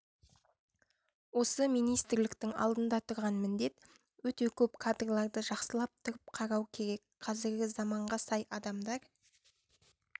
осы министрліктің алдында тұрған міндет өте көп кадрларды жақсылап тұрыпқарау керек қазіргі заманға сай адамдар